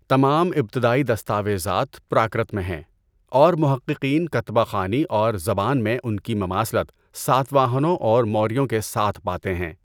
تمام ابتدائی دستاویزات پراکرت میں ہیں، اور محققین کتبہ خوانی اور زبان میں ان کی مماثلت ساتواہنوں اور موریوں کے ساتھ پاتے ہیں۔